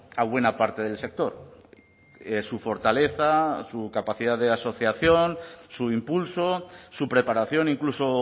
a buena parte del sector su fortaleza su capacidad de asociación su impulso su preparación incluso